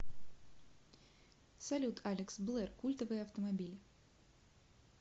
салют алекс блэр культовые автомобили